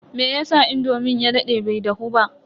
meyasa indomin ya dade bai dahu ba?